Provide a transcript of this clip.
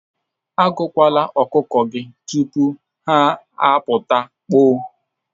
Agụkwala ọkụkọ gị tupu ha apụta, kpoo.